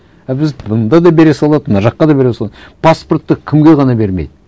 а біз мында да бере салады мына жаққа да бере салады паспортты кімге ғана бермейді